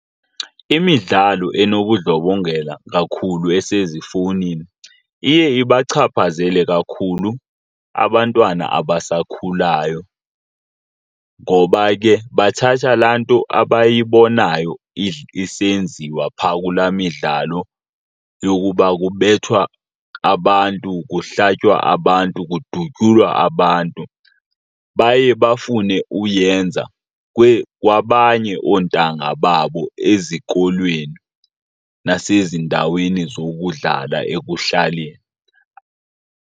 Imidlalo enobundlobongela kakhulu esezifowunini iye ibachaphazele kakhulu abantwana abasakhulayo, ngoba ke bathatha laa nto abayibonayo isenziwa phaa kula midlalo yokuba kubethwa abantu, kuhlatywa abantu, kudutyulwa abantu. Baye bafune uyenza kwabanye oontanga babo ezikolweni nasezindaweni zokudlala ekuhlaleni.